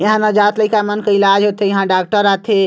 यहाँ नवजात लइका मन इलाज़ होत थे यहाँ डॉक्टर आत थे।